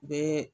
Be